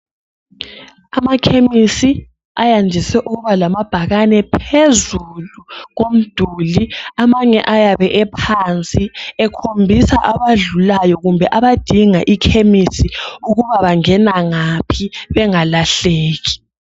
Amakhemisi ayandise ukuba lamabhakane phezulu komduli .Amanye ayabe ephansi ekhombisa abadlulayo kumbe abadinga ikhemisi ukuba bangena ngaphi bengalahleki.